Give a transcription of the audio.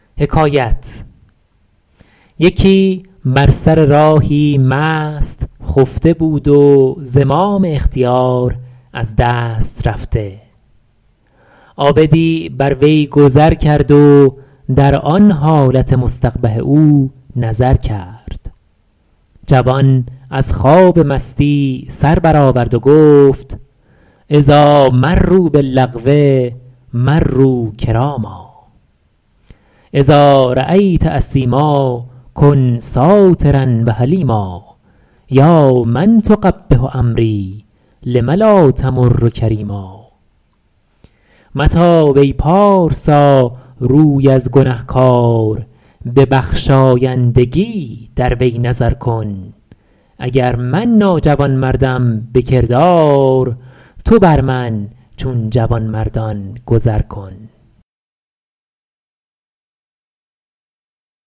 یکی بر سر راهی مست خفته بود و زمام اختیار از دست رفته عابدی بر وی گذر کرد و در آن حالت مستقبح او نظر کرد جوان از خواب مستی سر بر آورد و گفت اذاٰ مروا باللغو مروا کراما اذا رأیت اثیما کن سٰاترا و حلیما یا من تقبح امری لم لا تمر کریما متاب ای پارسا روی از گنهکار به بخشایندگی در وی نظر کن اگر من ناجوانمردم به کردار تو بر من چون جوانمردان گذر کن